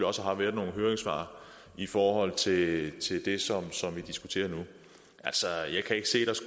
også har været nogle høringssvar i forhold til det som vi diskuterer nu altså jeg kan ikke se der